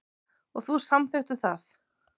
Og þú samþykktir það.